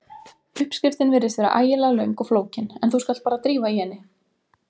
Uppskriftin virðist vera ægilega löng og flókin en þú skalt bara drífa í henni.